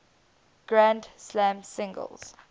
grand slam singles